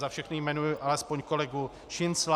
Za všechny jmenuji alespoň kolegu Šincla.